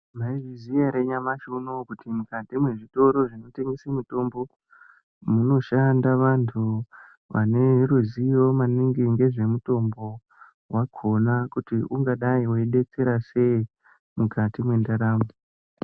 Maizviziya ere nyamashi unowu kuti mwukati mwezvitoro zvinotengese mitombo, munoshanda vantu vane ruzivo maningi ngezvemitombo wagona kuti ungadai weibetsera sei mukati mwendaramo.